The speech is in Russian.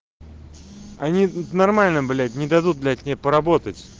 они нормально блять не дадут блять мне поработать